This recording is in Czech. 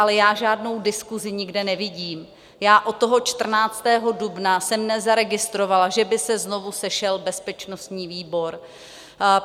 Ale já žádnou diskusi nikde nevidím, já od toho 14. dubna jsem nezaregistrovala, že by se znovu sešel bezpečnostní výbor.